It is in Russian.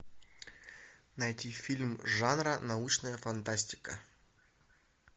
найти фильм жанра научная фантастика